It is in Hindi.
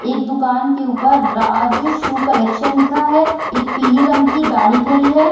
एक दुकान के ऊपर राज शू कलेक्शन लिखा है एक पीली रंग की गाड़ी खड़ी है ।